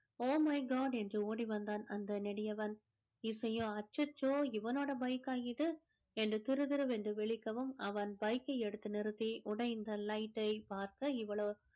oh my god என்று ஓடி வந்தான் அந்த நெடியவன் இசையோ அச்சச்சோ இவனோட bike கா இது என்று திருதிருவென்று விழிக்கவும் அவன் bike கை எடுத்து நிறுத்தி உடைந்த light டை பார்க்க இவளோ